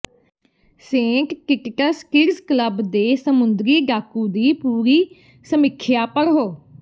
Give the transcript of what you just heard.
Saint Kitts kids club ਦੇ ਸਮੁੰਦਰੀ ਡਾਕੂ ਦੀ ਪੂਰੀ ਸਮੀਖਿਆ ਪੜ੍ਹੋ